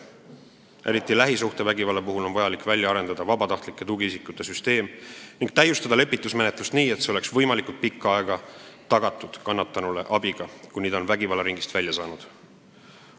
Eriti lähisuhtevägivalla puhul on vaja välja arendada vabatahtlike tugiisikute süsteem ning täiustada lepitusmenetlust nii, et kannatanule oleks abi tagatud võimalikult pikka aega, kuni ta on vägivallaringist välja saanud.